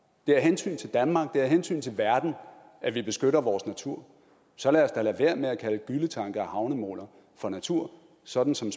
det er af hensyn til danmark det er af hensyn til verden at vi beskytter vores natur så lad os da lade være med at kalde gylletanke og havnemoler for natur sådan som